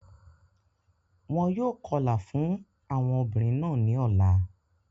Wọn yóò kọlà fún àwọn obìnrin náà ní ọ̀la.